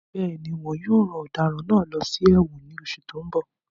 Bẹ́ẹ̀ni, wón yóò rán ọ̀daràn náà lọ sí ẹ̀wọ̀n ní oṣù tó ń bọ̀